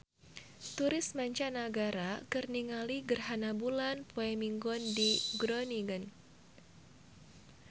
Turis mancanagara keur ningali gerhana bulan poe Minggon di Groningen